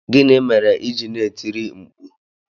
Gịnị mere i ji na-etiri mkpu?